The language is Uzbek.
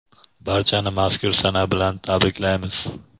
Barchani mazkur sana bilan tabriklaymiz!.